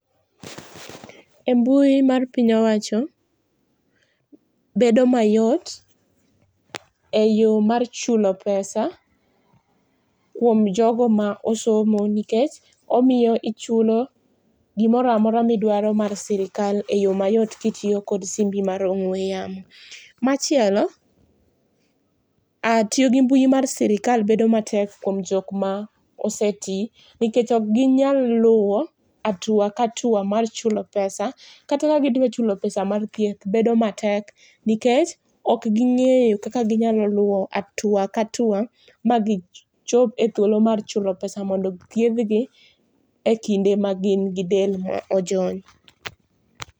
E mbui mar piny owacho, bedo mayot e yoo mar chulo pesa kuom jo go ma osomo nikech omiyo ichulo gi moro amora mi idwaro mar sirkal e yo mayot ki itiyo kod simbi mar ong'we yamo. machielo tiyo gi mbui mar sirkal bedo matek ne jok ma osetii nikech ok gi nyal luwo hatua ka hatua mar chulo pesa kata ka gi dwa chulo [cs[pesa mar thieth bedo matek nikech ok gi ngeyo kaka gi nyalo luwo hatua ka hatua ma gi chop e thuolo mar chulo pesa mondo thiedh gi e kinde ma gin gi dend ma ojony.